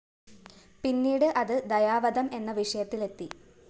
പിന്നീട് അത് ദയാവധം എന്ന വിഷയത്തിലെത്തി